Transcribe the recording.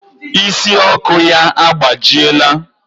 Ịsị Ọkụ ya agbajiela.